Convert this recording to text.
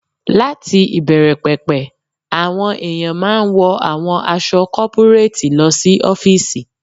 Láti ìbẹ̀rẹ̀ pẹ̀pẹ̀, àwọn èèyàn máa n wọ àwọn aṣọ kọ́púréètì lọ sí ọ́fìsì